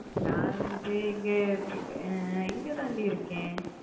நா வந்து இங்க இங்கதான் டி இருக்கேன்